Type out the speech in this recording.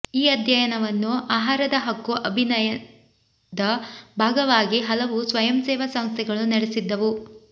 ಈ ಅಧ್ಯಯನವನ್ನು ಆಹಾರದ ಹಕ್ಕು ಅಭಿಯನದ ಭಾಗವಾಗಿ ಹಲವು ಸ್ವಯಂಸೇವಾ ಸಂಸ್ಥೆಗಳು ನಡೆಸಿದ್ದವು